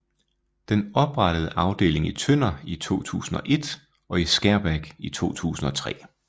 Den oprettede afdeling i Tønder i 2001 og i Skærbæk i 2003